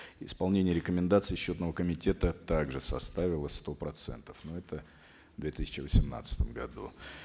исполнение рекомендаций счетного комитета также составило сто процентов но это в две тысячи восемнадцатом году